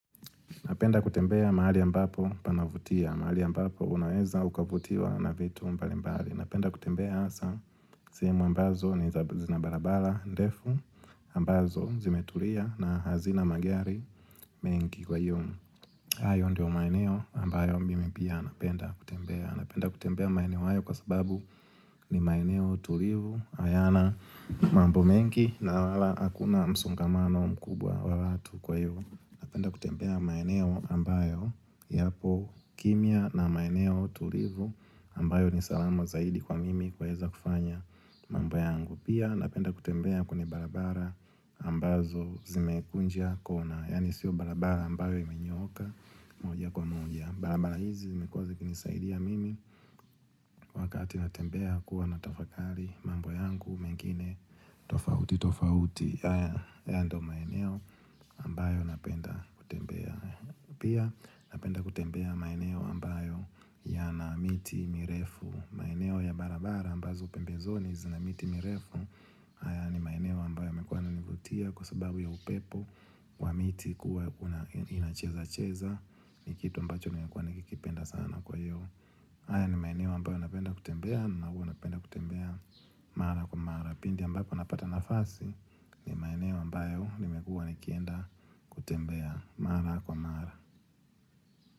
Napenda kutembea mahali ambapo panavutia. Mahali ambapo unaeza ukavutiwa na vitu mbalimbali. Napenda kutembea asa. Sihemu ambazo ni zina barabara ndefu ambazo zimetulia na hazina magari mengi. Kwa iyo. Hayo ndio maeneo ambayo mimi pia napenda kutembea. Napenda kutembea maeneo hayo kwa sababu ni maeneo tulivu. Hayana mambo mengi na wala akuna msongamano mkubwa wa watu. Kwa iyo, napenda kutembea maeneo ambayo yapo kimya na maeneo tulivu. Ambayo ni salama zaidi kwa mimi kueza kufanya mambo yangu. Pia napenda kutembea kwenye barabara ambazo zimekunja kona. Yaani sio barabara ambayo imenyooka moja kwa moja. Barabara hizi zimekua zikinisaidia mimi. Wakati natembea kuwa natafakari mambo yangu mengine. Tofauti tofauti. Haya ndio maeneo ambayo napenda kutembea. Pia napenda kutembea maeneo ambayo yana miti mirefu. Maeneo ya barabara ambazo pembezoni zina miti mirefu. Haya ni maeneo ambayo yamekuwa yananivutia kwa sababu ya upepo wa miti kuwa ina cheza-cheza. Ni kitu ambacho nimekuwa nikikipenda sana. Kwa hiyo. Haya ni maeneo ambayo napenda kutembea na huwa napenda kutembea mara kwa mara. Pindi ambako napata nafasi, ni maeneo ambayo nimekuwa nikienda kutembea mara kwa mara.